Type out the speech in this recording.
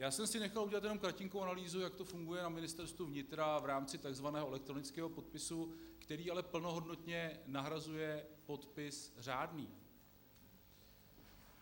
Já jsem si nechal udělat jenom kratinkou analýzu, jak to funguje na Ministerstvu vnitra v rámci takzvaného elektronického podpisu, který ale plnohodnotně nahrazuje podpis řádný.